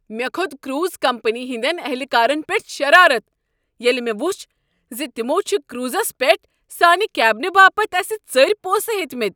مےٚ كھوٚت cruise company ہٕنٛدٮ۪ن اہلکارن پیٹھ شرارت ییٚلہ مےٚ وُچھ ز تمو چھُ کروزس پٮ۪ٹھ سٲنہِ کیبنہٕ باپتھ اسہ ژٔرۍ پونسہٕ ہیتِمٕتۍ۔